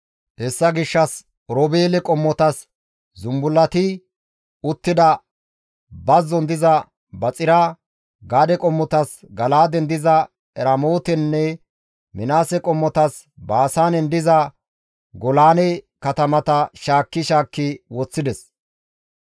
Hessa gishshas Oroobeele qommotas zumbullati uttida bazzon diza Baxira, Gaade qommotas Gala7aaden diza Eramootenne Minaase qommotas Baasaanen diza Golaane katamata shaakki shaakki woththides.